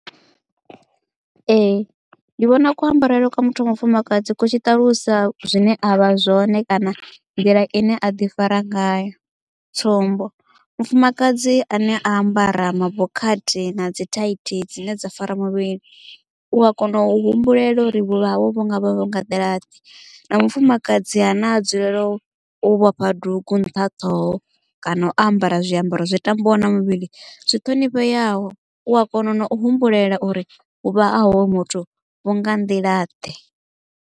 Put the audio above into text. Ee ndi vhona ku ambarele kwa muthu wa mufumakadzi ku tshiṱalusa zwine avha zwone kana nḓila ine aḓi fara ngayo tsumbo mufumakadzi ane a ambara mabokhathi na dzi thaithi dzine dza fara muvhili u ya kona u humbulela uri vhuvha hawe vhu ngavha vho nga nḓila ḓe na mufumakadzi ha na dzulela u vhofha duga nṱha ṱhoho kana u ambara zwiambaro zwi tambaho na muvhili zwi thonifheyaho u a kona na u humbulela uri vhuvha ha hoyo muthu vhu nga nḓila ḓe.